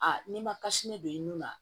n'i ma don i nun na